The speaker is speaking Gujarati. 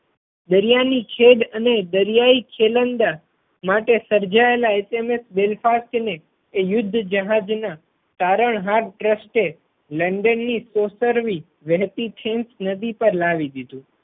દરિયા ની છેદ અને દરિયાઈ ખેલંદા માટે સર્જાયેલા HMS Belfast ને એ યુદ્ધ જહાજ ના તારણહાર ટ્રસ્ટે લંડન ની સોશરવી વહેતી ટીમ્સ નદી પર લાવી દીધું.